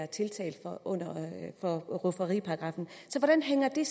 tiltalt efter rufferiparagraffen hvordan hænger det